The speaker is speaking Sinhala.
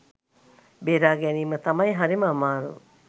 බේරා ගැනීම තමයි හරිම අමාරු.